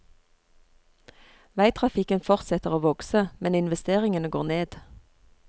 Veitrafikken fortsetter å vokse, men investeringene går ned.